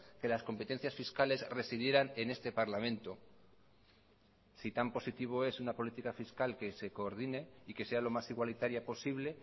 que las competencias fiscales residieran en este parlamento si tan positivo es una política fiscal que se coordine y que sea lo más igualitaria posible